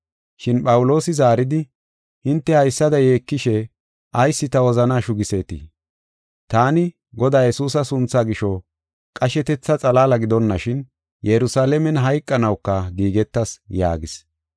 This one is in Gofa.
Shin Phawuloosi zaaridi, “Hinte haysada yeekishe ayis ta wozanaa shugiseetii? Taani, Godaa Yesuusa sunthaa gisho qashetetha xalaala gidonashin Yerusalaamen hayqanawuka giigetas” yaagis.